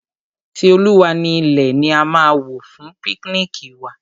Ti Olúwa ni ilẹ̀ ni a máa wò fún píknìkì wa.